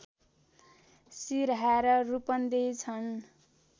सिरहा र रूपन्देही छन्